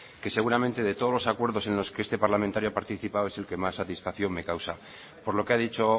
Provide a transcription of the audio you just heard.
que seguramente de todos los acuerdos en los que este parlamentario ha participado es el que más satisfacción me causa por lo que ha dicho